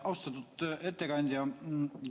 Austatud ettekandja!